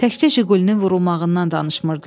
Təkcə jiqulinin vurulmağından danışmırdılar.